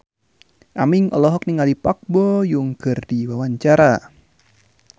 Aming olohok ningali Park Bo Yung keur diwawancara